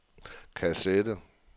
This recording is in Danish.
kassette